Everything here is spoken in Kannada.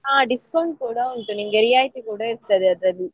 ಹಾ discount ಕೂಡ ಉಂಟು ನಿಮ್ಗೆ ರಿಯಾಯಿತಿ ಕೂಡ ಇರ್ತದೆ ಅದ್ರಲ್ಲಿ.